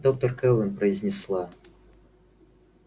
доктор кэлвин произнесла